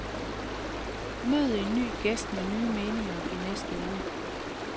Mød en ny gæst med nye meninger i næste uge.